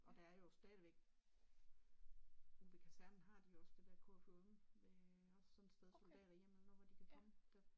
Og der er jo stadigvæk ude ved kasernen har de også det der KFUM med også sådan et sted soldaterhjemmet nu hvor de kan komme